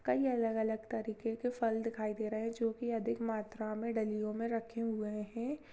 कई अलग-अलग तरीके के फल दिखाई दे रहे हैं जो कि अधिक मात्रा में डलियों में रखे हुए हैं।